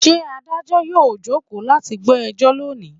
Ṣé Adájọ́ yóò jókòó láti gbọ́ ẹjọ́ lónìí?